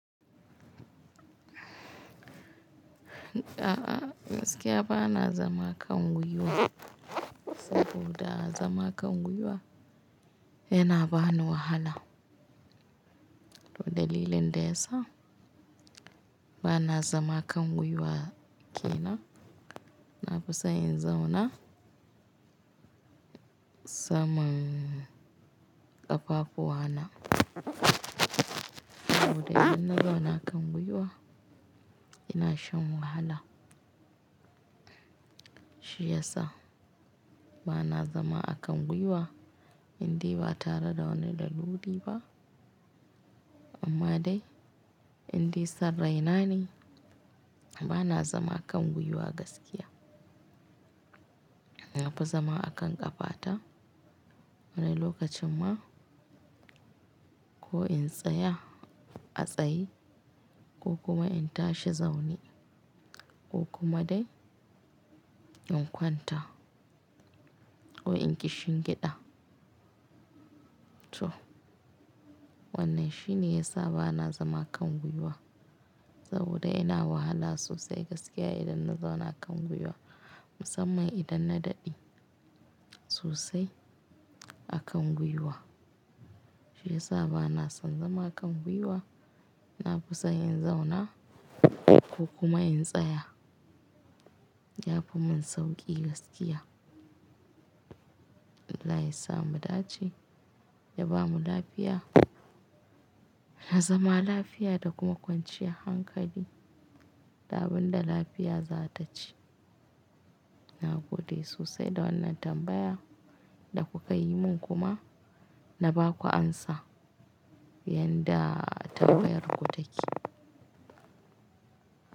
A'a gaskiya ba na zama kan gwiwa, saboda zama kan gwiwa yana bani wahala. Dalilin ne da yasa ba na zama kan gwiwa, kenan nafisan in zauna saman ƙafafuwa na. Saboda idan na zauna kan gwiwa ina shan wahala. Shi ya sa ba na zama a kan gwiwa, inde ba tare da wani dalili ba. Amma dai inde san rai na ne ba na zama kan gwiwa gaskiya. Nafi zama a kan ƙafata wani lokacin ma ko in tsaya a tsaye ko kuma in tashi zaune ko kuma dai in kwanta ko in kishingiɗa. To wannan shine ya sa ba na zama kan gwiwa saboda ina wahala sosai gaskiya idan na zauna kan gwiwa musamman idan na daɗe sosai a kan gwiwa. Shi ya sa ba na son zama kan gwiwa nafisan in zauna ko kuma in tsaya. Ya fi mun sauƙi gaskiya. Allah ya sa mu dace ya bamu lafiya. Na zama lafiya da kuma kwanciyar hankali. Da abun da lafiya za ta ci. Na gode sosai da wannan tambaya da kuka yi mun kuma na ba ku amsa yadda tambayar ku take.